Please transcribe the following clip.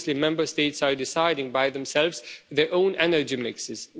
Obviously Member States are deciding by themselves their own energy mixes.